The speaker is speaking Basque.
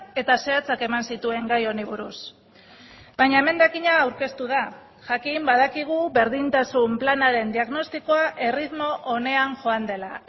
eta zehatzak eman zituen gai honi buruz baina emendakina aurkeztu da jakin badakigu berdintasun planaren diagnostikoa erritmo onean joan dela